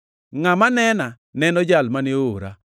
Ngʼama nena, neno Jal mane oora.